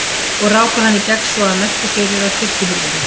Og ráku hann í gegn svo að merkti fyrir á kirkjuhurðinni.